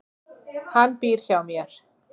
Hann býr hjá mér.